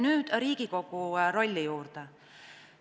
Nüüd Riigikogu rolli juurde.